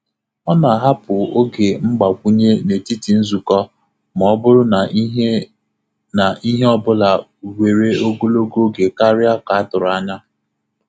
Ọ na-ahapụ oge mgbakwunye n’etiti nzukọ ma ọ bụrụ na ihe na ihe ọ bụla were ogologo oge karịa ka a tụrụ anya.